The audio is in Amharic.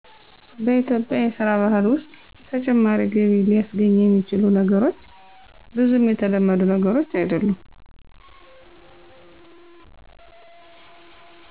በኢትዮጵያ የስራ ባህል ውስጥ ተጨማሪ ገቢ ሊስገኙ የሚችሉ ነገሮች ብዙም የተለመዱ ነገሮች አይድሉም።